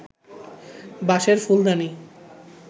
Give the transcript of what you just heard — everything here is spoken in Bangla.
বাঁশের ফুলদানি